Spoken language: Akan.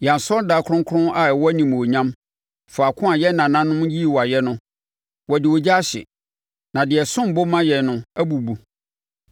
Yɛn asɔredan kronkron a ɛwɔ animuonyam, faako a yɛn nananom yii wo ayɛ no, wɔde ogya ahye, na deɛ ɛsom bo ma yɛn no, abubu.